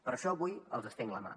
per això avui els estenc la mà